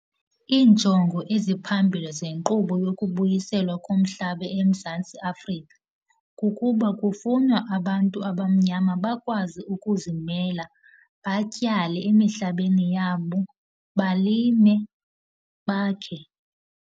Iinjongo eziphambili zenkqubo yokubuyiselwa komhlaba eMzantsi Afrika kukuba kufunwa abantu abamnyama bakwazi ukuzimela, batyale emihlabeni yabo, balime, bakhe.